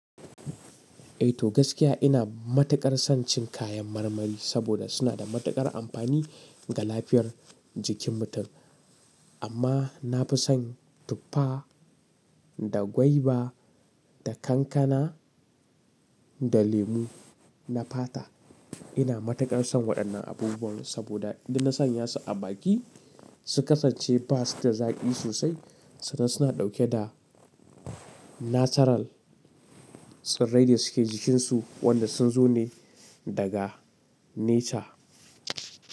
Eh to gaskiya ina matuƙar son cin kayan marmari saboda suna da matuƙar amfani ga lafiyar jikin mutum. Amma na fi son tuffa da gwaiba da kankana da lemu na fata. Ina matuƙar son waɗannan abubuwan saboda idan na sanya su a baki su kasance ba su da zaƙi sosai sannan suna ɗauke da natural tsirrai da suke jikinsu wanda sun zo ne daga nature.